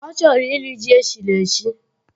Ọ chọrọ irii ji eshiri eshi